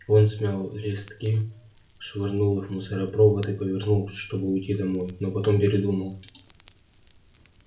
он смял листки швырнул их в мусоропровод и повернулся чтобы уйти домой но потом передумал